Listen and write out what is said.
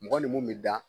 Mɔgɔ ni mun bɛ da